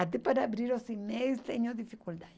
Até para abrir os e-mails tenho dificuldade.